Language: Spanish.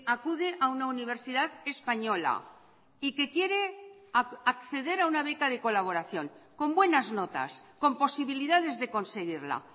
acude a una universidad española y que quiere acceder a una beca de colaboración con buenas notas con posibilidades de conseguirla